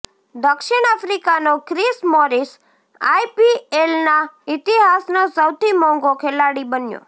દક્ષિણ આફ્રિકાનો Chris Morris આઈપીએલના ઇતિહાસનો સૌથી મોંઘો ખેલાડી બન્યો